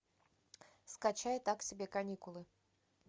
скачай так себе каникулы